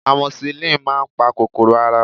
amoxicillin máà ń pa kòkòrò ara